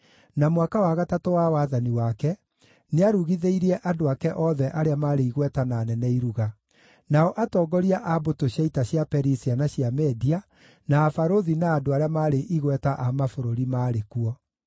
na mwaka wa gatatũ wa wathani wake, nĩarugithĩirie andũ ake othe arĩa maarĩ igweta na anene iruga. Nao atongoria a mbũtũ cia ita cia Perisia na cia Media, na abarũthi na andũ arĩa maarĩ igweta a mabũrũri maarĩ kuo.